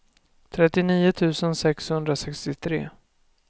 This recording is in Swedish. trettionio tusen sexhundrasextiotre